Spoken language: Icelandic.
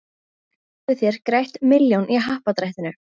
Þá hafið þér grætt milljón í happadrættinu.